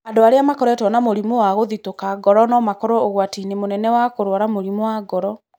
Andũ arĩa makoretwo na mũrimũ wa kũthitũka ngoro no makorũo ũgwati-inĩ mũnene wa kũrũara mũrimũ wa ngoro.